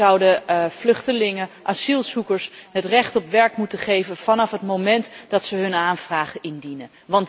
Wij zouden vluchtelingen, asielzoekers het recht op werk moeten geven vanaf het moment dat ze hun aanvraag indienen.